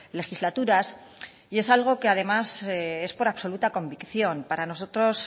legislaturas y es algo que además es por absoluta convicción para nosotros